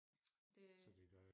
det